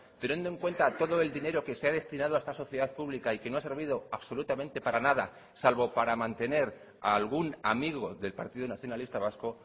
teniendo en cuenta todo el dinero que se ha destinado a esta sociedad pública y que no ha servido absolutamente para nada salvo para mantener a algún amigo del partido nacionalista vasco